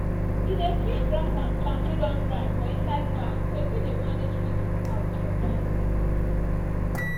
he dey kip grass and plant wey don dry for inside bag so e fit dey manage feed im cows for dry season.